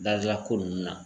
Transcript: Dazia ko nn na